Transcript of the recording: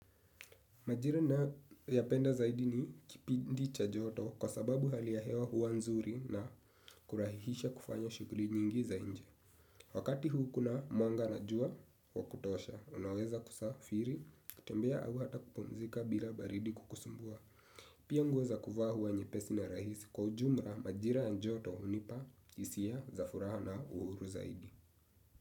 Majira ninayoyapenda zaidi ni kipindi cha joto kwa sababu hali ya hewa huwa nzuri na kurahihisha kufanya shuguli nyingi za nje. Wakati huu kuna mwanga na jua wa kutosha, unaweza kusafiri, kutembea au hata kupumzika bila baridi kukusumbua. Pia nguo za kuvaa huwa nyepesi na rahisi, kwa ujumla majira ya joto hunipa hisia za furaha na uhuru zaidi.